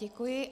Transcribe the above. Děkuji.